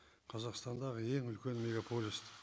қазақстандағы ең үлкен мегаполис